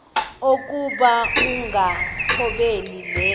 okokuba ukungathobeli le